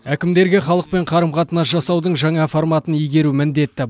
әкімдерге халықпен қарым қатынас жасаудың жаңа форматын игеру міндет